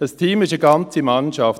Ein Team ist eine ganze Mannschaft.